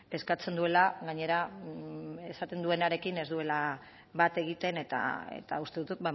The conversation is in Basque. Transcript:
eskatzen duela gainera esaten duenarekin ez duela bat egiten eta uste dut